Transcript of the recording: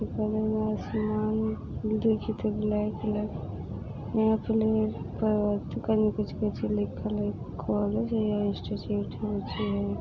बगल में आसमान दिख तो लगी यहाँ पे त कनि कुछ कुछ लिखल हई कॉलेज या इंस्टिट्यूट हई